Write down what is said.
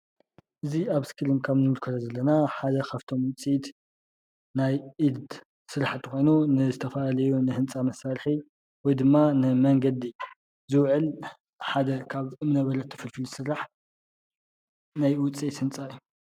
እዚ ኣብ እስክሪን ከም እንምልከቶ ዘለና ሓደ ካፍቶም ዉፅኢት ናይ ኢድ ስራሕቲ ኮይኑ ንዝተፈላለዩ ንህንፃ መሳርሒ ወይ ድማ ንመንገዲ ዝዉዕል ሓደ ካብ እምነበረድ ተፈልፊሉ ዝስራሕ ናይ ዉፅኢት ህንፃት እዩ።